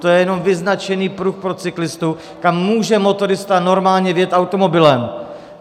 To je jenom vyznačený pruh pro cyklistu, kam může motorista normálně vjet automobilem.